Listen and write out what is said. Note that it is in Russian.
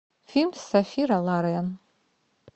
фильм с софи лорен